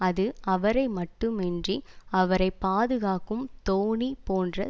அது அவரை மட்டுமின்றி அவரை பாதுகாக்கும் தோணி போன்ற